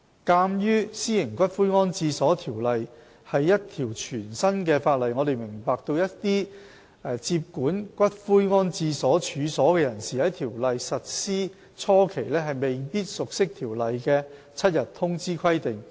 鑒於《私營骨灰安置所條例》是一條全新的法例，我們明白一些接管骨灰安置所處所的人士在《條例》實施初期，未必熟悉《條例》的7日通知規定。